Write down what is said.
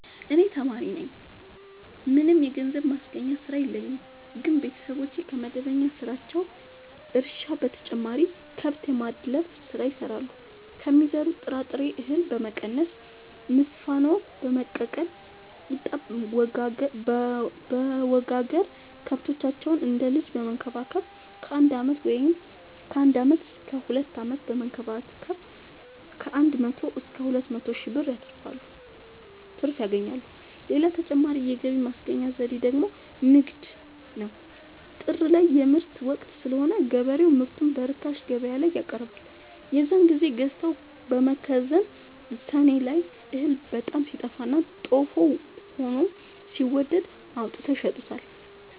እኔ ተማሪነኝ ምንም የገንዘብ ማስገኛ ስራ የለኝም ግን ቤተሰቦቼ ከመደበኛ ስራቸው እርሻ በተጨማሪ ከብት የማድለብ ስራ ይሰራሉ ከሚዘሩት ጥራጥሬ እሀል በመቀነስ ንፋኖ በመቀቀል ቂጣበወጋገር ከብቶቻቸውን እንደ ልጅ በመከባከብ ከአንድ አመት እስከ ሁለት አመት በመንከባከብ ከአንድ መቶ እስከ ሁለት መቶ ሺ ብር ትርፍ ያገኛሉ። ሌላ ተጨማሪ የገቢ ማስገኛ ዘዴ ደግሞ ንግድ ነው። ጥር ላይ የምርት ወቅት ስለሆነ ገበሬው ምርቱን በርካሽ ገበያላይ ያቀርባል። የዛን ግዜ ገዝተው በመከዘን ሰኔ ላይ እህል በጣም ሲጠፋና ጦፍ ሆኖ ሲወደድ አውጥተው ይሸጡታል።